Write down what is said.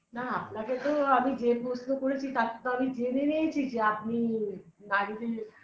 না আপনাকে তো আমি যে প্রশ্ন করেছি তার তো আমি জেনে নিয়েছি যে আপনি নারীদের